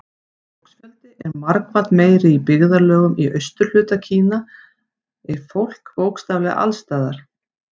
Fólksfjöldi er margfalt meiri Í byggðarlögum í austurhluta Kína er fólk bókstaflega alls staðar.